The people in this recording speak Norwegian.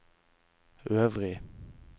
øvrig